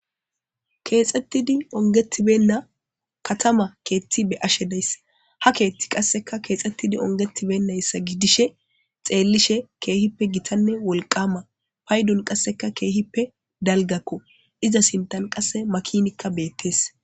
Kexxettidi onggeti beyna katama keththa be7ashe days ha keththaykka qase kexetidi ongeti beynayssa gidishin kehippe gitanne wolqqama paydon qasekka kehippe dalgako iza sinthan qasseka makinay bettes.